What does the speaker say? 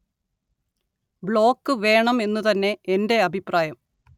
block വേണം എന്നു തന്നെ എന്റെ അഭിപ്രായം